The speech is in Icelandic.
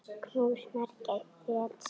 Knús, Margrét Sif.